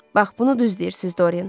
Bax bunu düz deyirsiz, Doryan.